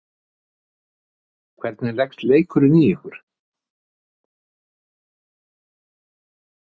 Hvernig leggst leikurinn í ykkur?